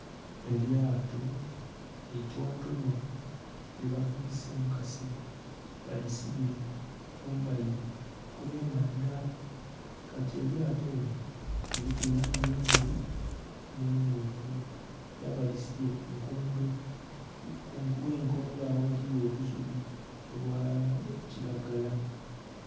Elyato itontonho lye bavugisa enkasi bali sibye kumbali kwe nhandha kati elyato elyo liliku langi endheru nhe myufu era bali sibye ku nkondho, ghe nkondho agho ghaligho obusubi obwa kilagala.